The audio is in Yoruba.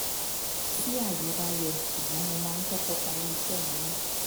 tí ayé bá yọ ṣùgbọ́n mo máa ń kọ́kọ́ parí iṣẹ́ mi ná